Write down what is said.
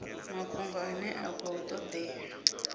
mafhungo ane a khou todea